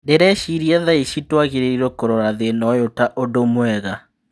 " Ndĩreciria thaici tũagĩrĩirwo kũrora thĩna ũyũ ta ũndũ mwega.